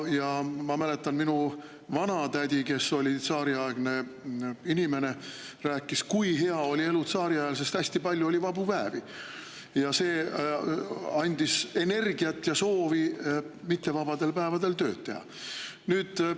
Ja ma mäletan, et minu vanatädi, kes oli tsaariaegne inimene, rääkis, kui hea oli elu tsaariajal, sest hästi palju oli vabu päevi ja see andis energiat ja soovi mittevabadel päevadel tööd teha.